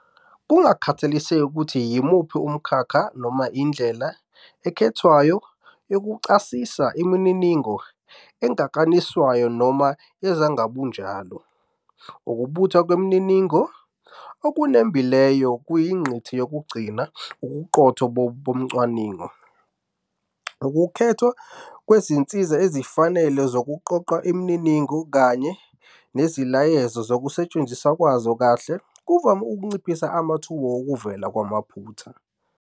Kungakhathaliseki ukuthi yimuphi umkhakha noma indlela ekhethwayo yokuchasisa imininingo engakaniswayo noma yezingabunjalo, ukubuthwa kwemininingo okunembileyo kuyingqikithi yokugcina ubuqotho bocwaningo. Ukukhethwa kwezinsiza ezifanele zokuqoqa imininingo kanye neziyalezo zokusetshenziswa kwazo kahle kuvame ukunciphisa amathuba wokuvela kwamaphutha.